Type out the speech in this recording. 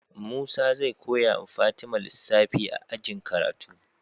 Musa zai koyawa fatima lissafi a ajin karatu